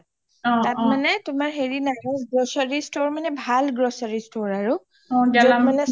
তাত মানে তোমাৰ হেৰি নাই ভাল grocery store মানে ভাল grocery store আৰু য’ত মানে চব বস্তু পাব গেলামালৰ